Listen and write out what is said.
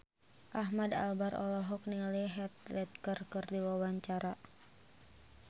Ahmad Albar olohok ningali Heath Ledger keur diwawancara